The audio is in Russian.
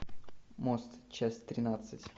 мост часть тринадцать